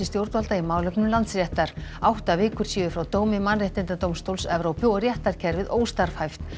stjórnvalda í málefnum Landsréttar átta vikur séu frá dómi mannréttindadómstóls Evrópu og réttarkerfið óstarfhæft